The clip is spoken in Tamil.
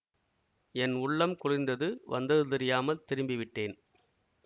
என் உள்ளம் குளிர்ந்தது வந்தது தெரியாமல் திரும்பிவிட்டேன்